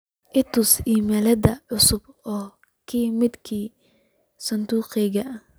i tus iimaylyada cusub oo ka imid sanduuqayga